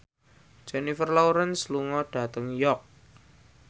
Jennifer Lawrence lunga dhateng York